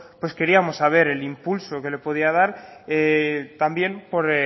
pues queríamos saber el impulso que le podía también por